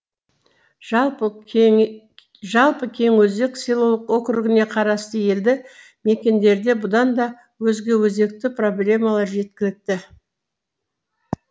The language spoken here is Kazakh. жалпы кеңөзек селолық округіне қарасты елді мекендерде бұдан да өзге өзекті проблемалар жеткілікті